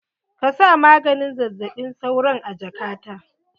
Ka sa maganin zazzaɓin sauron a jaka ta!